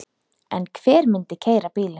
En hver myndi keyra bílinn?